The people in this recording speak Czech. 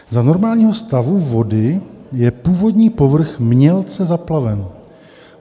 - Za normálního stavu vody je původní povrch mělce zaplaven.